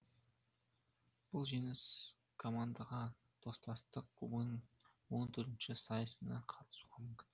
бұл жеңіс командаға достастық кубогының он төртінші сайысына қатысуға мүмкіндік берді